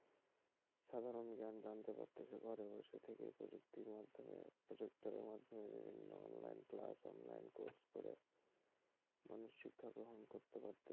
সাধারণ জ্ঞান জানতে পারছে ঘরে বসে থেকেই প্রযুক্তির মাধ্যমে প্রজেক্টরের মাধ্যমে বিভিন্ন অনলাইন ক্লাস অনলাইন কোর্স করে মানুষ শিক্ষা গ্রহণ করতে পারছে,